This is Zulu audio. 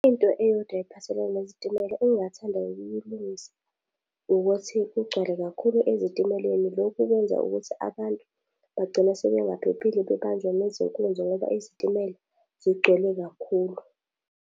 Into eyodwa ephathelene nezitimela engingathanda ukuyilungisa, ukuthi kugcwale kakhulu ezitimeleni lokhu kwenza ukuthi abantu bagcine sebengaphephile bebanjwa nezinkunzi ngoba izitimela zigcwele kakhulu.